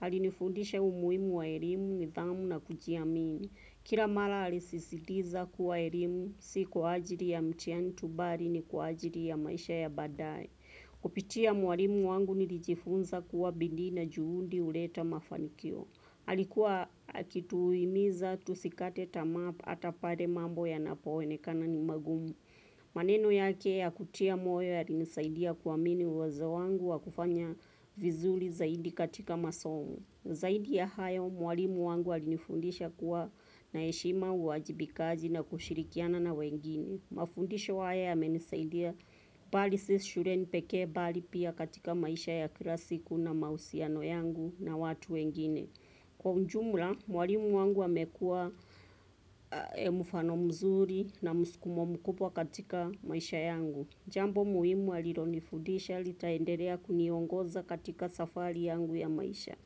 Alinifudisha umuhimu wa elimu, nidhamu na kujiamini. Kila mara alisisitiza kuwa elimu, si kwa ajili ya mtihani tu bali ni kwa ajili ya maisha ya baadae. Kupitia mwalimu wangu nilijifunza kuwa bidii na juhudi huleta mafanikio. Halikuwa kitu huimiza tusikate tamaa hata pale mambo yanapoonekana ni magumu. Maneno yake ya kutia moyo yalinisaidia kuamini uwezo wangu wa kufanya vizuri zaidi katika masomo. Zaidi ya hayo mwalimu wangu alinifundisha kuwa na heshima uajibikaji na kushirikiana na wengine. Mafundisha haya yamenisaidia bali si shuleni pekee bali pia katika maisha ya kila siku na mahusiano yangu na watu wengine. Kwa ujumla, mwalimu wangu amekuwa mfano mzuri na muskumo mkubwa katika maisha yangu. Jambo muhimu alilonifudisha, litaendelea kuniongoza katika safari yangu ya maisha.